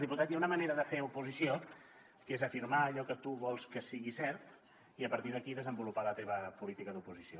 diputat hi ha una manera de fer oposició que és afirmar allò que tu vols que sigui cert i a partir d’aquí desenvolupar la teva política d’oposició